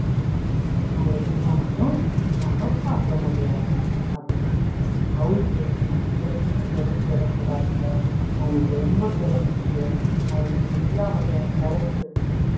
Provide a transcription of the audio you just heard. அவங்களை சும்மா மட்டும் நம்ம பார்க்க முடியாது. அதுனால house wife அ நம்ம எப்பயுமே குறைச்சு எடை போடாதீங்க. அவங்களுக்கு ரொம்ப திறமை இருக்கு. அவங்களுக்கு எல்லா வகையான talent ம் இருக்கு.